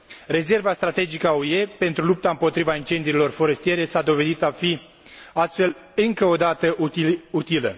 Rezerva strategică a UE pentru lupta împotriva incendiilor forestiere s a dovedit a fi, astfel, încă o dată, utilă.